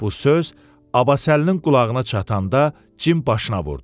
Bu söz Abbasəlinin qulağına çatanda cim başına vurdu.